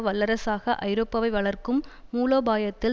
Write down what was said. வல்லரசாக ஐரோப்பாவை வளர்க்கும் மூலோபாயத்தில்